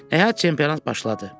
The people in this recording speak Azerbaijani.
Nəhayət çempionat başladı.